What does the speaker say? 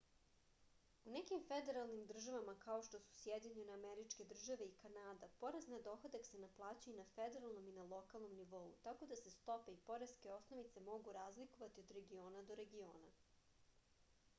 u nekim federalnim državama kao što su sjedinjene američke države i kanada porez na dohodak se naplaćuje i na federalnom i na lokalnom nivou tako da se stope i poreske osnovice mogu razlikovati od regiona do regiona